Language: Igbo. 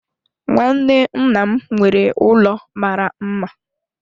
Nwanne nna m nwere ụlọ mara mma.